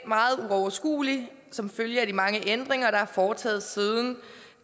meget uoverskuelig som følge af de mange ændringer der er foretaget siden